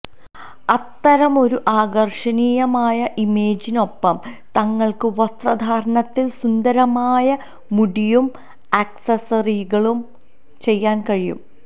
അത്തരമൊരു ആകർഷണീയമായ ഇമേജിനൊപ്പം നിങ്ങൾക്ക് വസ്ത്രധാരണത്തിൽ സുന്ദരമായ മുടിയും അക്സസറികളും ചെയ്യാൻ കഴിയും